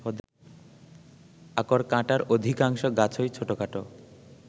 আকরকাঁটার অধিকাংশ গাছই ছোটখাটো